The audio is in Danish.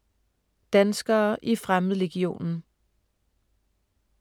Danskere i Fremmedlegionen